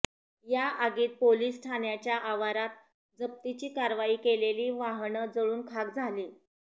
या आगीत पोलीस ठाण्याच्या आवारात जप्तीची कारवाई केलेली वाहनं जळून खाक झाली